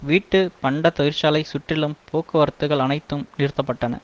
வீட்டு பண்ட தொழிற்சாலை சுற்றிலும் போக்குவரத்துக்கள் அனைத்தும் நிறுத்த பட்டன